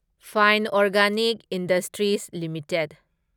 fine organic industries limited